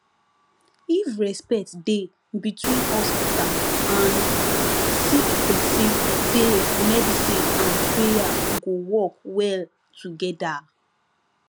if respect dey between hospital and sick pesin de medicine and prayer go work well togeda